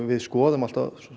við skoðum